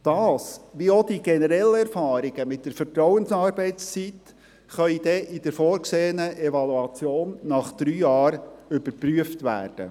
Das, wie auch die generellen Erfahrungen mit der Vertrauensarbeitszeit, kann dann in der vorgesehenen Evaluation nach drei Jahren überprüft werden.